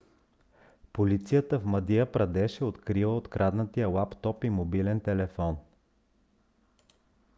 полицията в мадия прадеш е открила откраднатия лаптоп и мобилен телефон